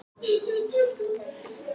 Okkur fannst við vera algerar pæjur